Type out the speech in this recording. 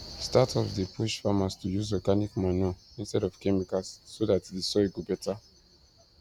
startups dey push farmers to use organic manure instead of chemicals so that the soil go better